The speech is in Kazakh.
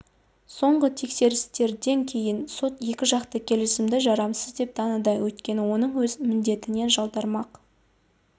соңғы тексерістерден кейін сот екі жақты келісімді жарамсыз деп таныды өйткені оның өз міндетінен жалтармақ